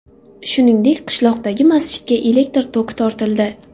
Shuningdek, qishloqdagi masjidga elektr toki tortildi.